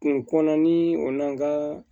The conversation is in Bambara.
Kun kɔnɔna ni o n'an ka